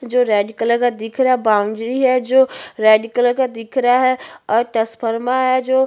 जो red colour का दिख रहा है बॉउंड्री है जो रेड कलर का दिख रहा है और तसफर्मा है जो--